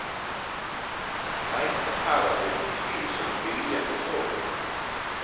Nei, her er det utvilsomt viljen det står på.